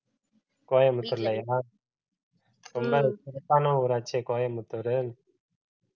கோயம்புத்தூர்லயா ரொம்ப சிறப்பான ஊராச்சே கோயம்புத்தூரு